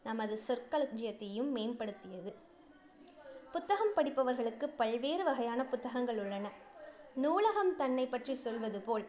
நமது சொற்களஞ்சியத்தையும் மேம்படுத்தியது. புத்தகம் படிப்பவர்களுக்கு பல்வேறு வகையான புத்தகங்கள் உள்ளன. நூலகம் தன்னை பற்றி சொல்வது போல்